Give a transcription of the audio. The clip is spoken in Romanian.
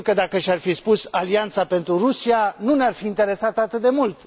Sigur că dacă și ar fi spus Alianța pentru Rusia nu ne ar fi interesat atât de mult.